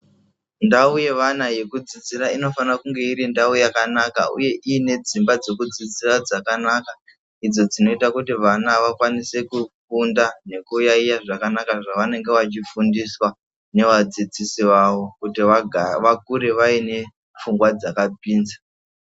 Ndao yevana yekudzidzira inofana kunge iri ndao yakanaka uye ine dzimba dzokudzudzira dzakanaka idzo dzinoita kuti vana vakwanise kufunda ngekuyayiya zvaka anaka zvavanonga veifundiswa nevadzidzisi vavo kuti vakure vaine pfungwa dzakapinza .